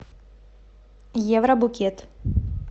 евробукет